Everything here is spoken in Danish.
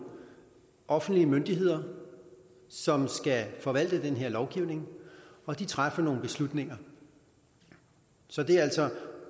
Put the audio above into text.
offentlige myndigheder som skal forvalte den her lovgivning og de træffer nogle beslutninger så det er altså